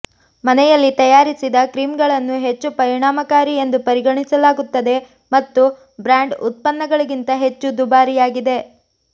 ಮನೆಯಲ್ಲಿ ತಯಾರಿಸಿದ ಕ್ರೀಮ್ಗಳನ್ನು ಹೆಚ್ಚು ಪರಿಣಾಮಕಾರಿ ಎಂದು ಪರಿಗಣಿಸಲಾಗುತ್ತದೆ ಮತ್ತು ಬ್ರಾಂಡ್ ಉತ್ಪನ್ನಗಳಿಗಿಂತ ಹೆಚ್ಚು ದುಬಾರಿಯಾಗಿದೆ